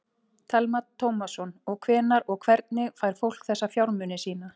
Telma Tómasson: Og hvenær og hvernig fær fólk þessa fjármuni sína?